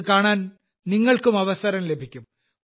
അത് കാണാൻ നിങ്ങൾക്കും അവസരം ലഭിക്കും